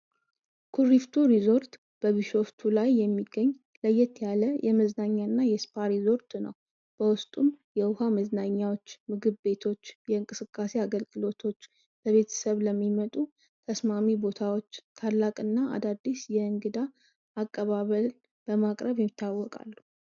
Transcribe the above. ኩሪፍቱ ሪርዞርት በቢሾፍቱ ላይ የሚገኝ ለየት ያለ ለመዝናኛ እና የ እስፓ እርዞርት ነው በዉስጡም የዉሃ መዝናኛዎች ምግብ ቤቶች የ እቅስቃሴ አገልግሎቶች ለቤተሰብ ለሚመጡ ተስማሚ ቦታዎች ታላቅ እና አዲስ የ እግዳ አቀባበቅ በማቅረብ ይታወቃሉ ።